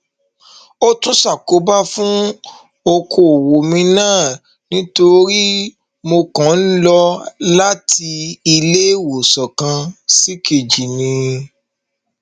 ó tún ṣàkóbá fún ọkọọwọ mi náà nítorí mo kàn ń lọ láti iléewòsàn kan ṣìkejì ni